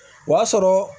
O y'a sɔrɔ